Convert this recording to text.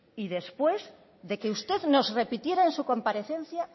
y después de que usted nos repitiera en su comparecencia